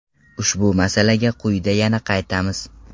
Ushbu masalaga quyida yana qaytamiz.